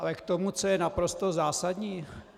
Ale k tomu, co je naprosto zásadní.